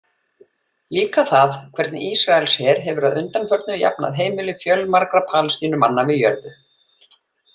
Líka það hvernig Ísraelsher hefur að undanförnu jafnað heimili fjölmargra Palestínumanna við jörðu.